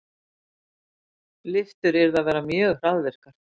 Lyftur yrðu að vera mjög hraðvirkar.